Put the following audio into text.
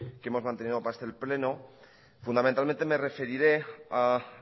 que hemos mantenido para este pleno fundamentalmente me referiré a